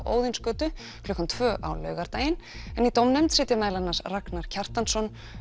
Óðinsgötu klukkan tvö á laugardaginn en í dómnefnd sitja meðal annars Ragnar Kjartansson